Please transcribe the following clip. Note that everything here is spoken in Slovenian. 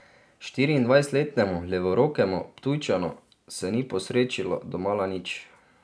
Štiriindvajsetletnemu levorokemu Ptujčanu se ni posrečilo domala nič.